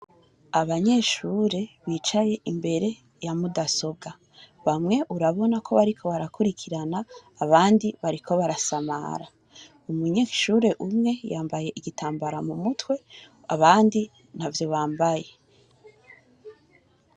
Abanyeshure bicaye imbere ya mudasobwa, bamwe urabona ko bariko barakurikirana abandi bariko barasamara umunyeshure umwe yambaye igitambara mumutwe abandi ntavyo bambaye.